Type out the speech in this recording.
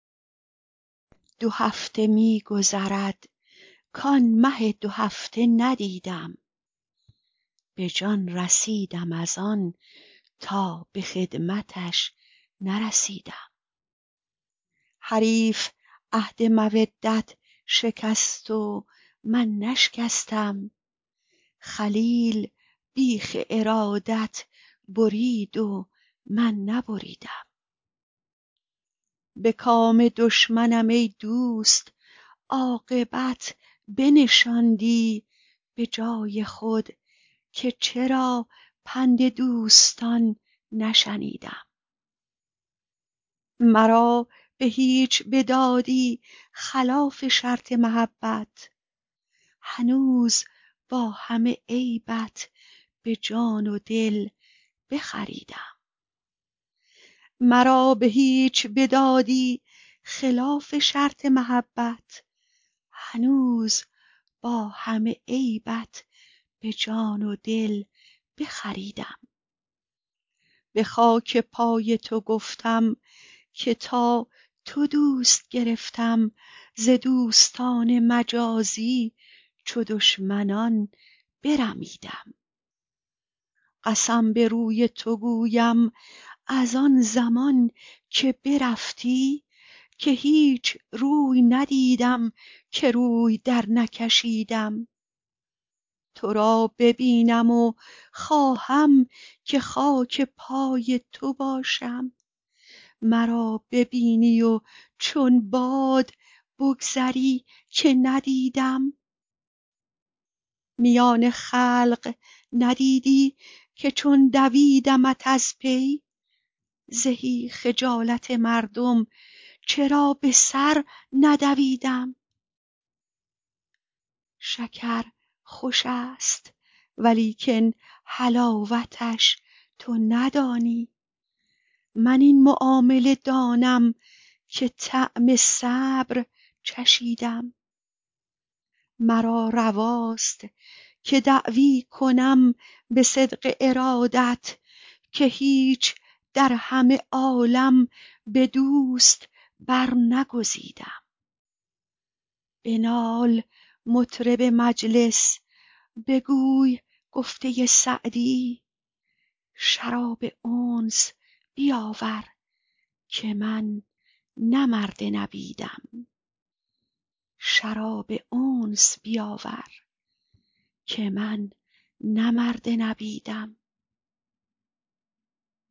دو هفته می گذرد کآن مه دوهفته ندیدم به جان رسیدم از آن تا به خدمتش نرسیدم حریف عهد مودت شکست و من نشکستم خلیل بیخ ارادت برید و من نبریدم به کام دشمنم ای دوست عاقبت بنشاندی به جای خود که چرا پند دوستان نشنیدم مرا به هیچ بدادی خلاف شرط محبت هنوز با همه عیبت به جان و دل بخریدم به خاک پای تو گفتم که تا تو دوست گرفتم ز دوستان مجازی چو دشمنان برمیدم قسم به روی تو گویم از آن زمان که برفتی که هیچ روی ندیدم که روی درنکشیدم تو را ببینم و خواهم که خاک پای تو باشم مرا ببینی و چون باد بگذری که ندیدم میان خلق ندیدی که چون دویدمت از پی زهی خجالت مردم چرا به سر ندویدم شکر خوش است ولیکن حلاوتش تو ندانی من این معامله دانم که طعم صبر چشیدم مرا رواست که دعوی کنم به صدق ارادت که هیچ در همه عالم به دوست برنگزیدم بنال مطرب مجلس بگوی گفته سعدی شراب انس بیاور که من نه مرد نبیدم